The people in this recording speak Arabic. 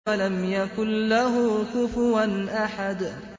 وَلَمْ يَكُن لَّهُ كُفُوًا أَحَدٌ